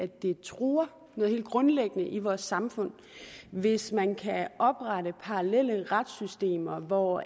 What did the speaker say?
det truer noget helt grundlæggende i vores samfund hvis man kan oprette parallelle retssystemer hvor